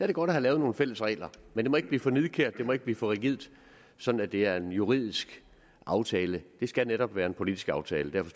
det godt at have lavet nogle fælles regler men det må ikke blive for nidkært det må ikke blive for rigidt sådan at det er en juridisk aftale det skal netop være en politisk aftale og